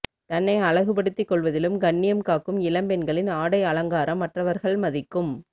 தன்னை அழகுபடுத்திக் கொள்வதிலும் கண்ணியம் காக்கும் இப்பெண்களின் ஆடை அலங்காரம் மற்றவர்கள் மதிக்கும்